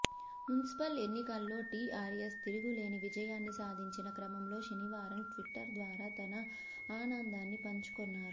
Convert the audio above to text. municipal ఎన్నికల్లో టీఆర్ఎస్ తిరుగులేని విజయాన్ని సాధించిన క్రమంలో శనివారం ట్విట్టర్ ద్వారా తన ఆనందాన్ని పంచుకొన్నారు